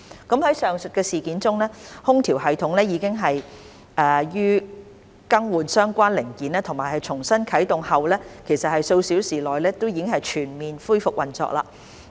在上述事件中，空調系統已於更換相關零件及重新啟動後數小時內全面恢復運作。